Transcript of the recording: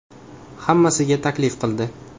Hammasiga taklif qildi.